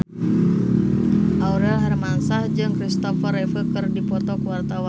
Aurel Hermansyah jeung Christopher Reeve keur dipoto ku wartawan